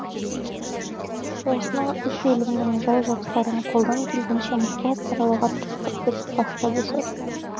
осынау үш өлімнің жай жапсарын қолдан келгенінше мұқият саралауға тырыстық деп бастады сот